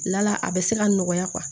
Lala a bɛ se ka nɔgɔya